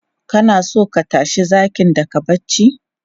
Kana so ka tashi zakin daga barci?